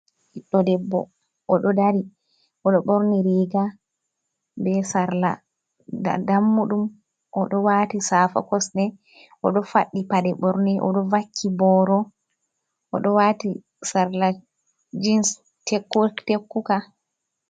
Ɓidɗo debbo oɗo dari, oɗo borni riga be sarla, da dam'muɗum, oɗo wati safa kosɗe, oɗo fadɗi paɗe ɓorne, oɗo vakki boro, oɗo wati sarla jins tekku tekkuka.